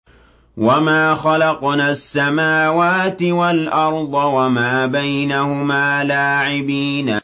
وَمَا خَلَقْنَا السَّمَاوَاتِ وَالْأَرْضَ وَمَا بَيْنَهُمَا لَاعِبِينَ